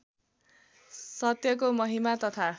सत्यको महिमा तथा